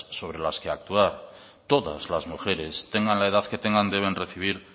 sobre las que actuar todas las mujeres tengan la edad que tengan deben recibir